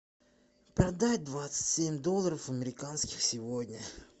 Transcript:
продать двадцать семь долларов американских сегодня